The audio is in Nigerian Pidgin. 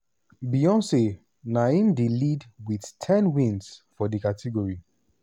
beyoncé na im dey lead wit ten wins for di category.